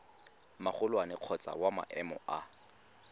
magolwane kgotsa wa maemo a